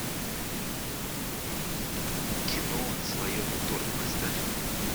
кино слоеный торт поставь